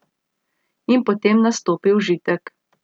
In potem nastopi užitek.